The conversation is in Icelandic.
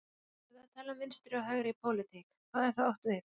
Þegar það er talað um vinstri og hægri í pólitík, hvað er þá átt við?